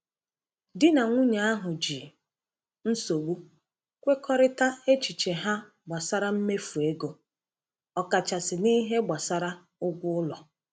Di na nwunye ahụ ji nsogbu kwekọrịta echiche ha gbasara mmefu ego, ọkachasị n’ihe gbasara ụgwọ ụlọ.